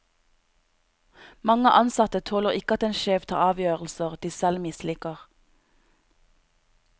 Mange ansatte tåler ikke at en sjef tar avgjørelser de selv misliker.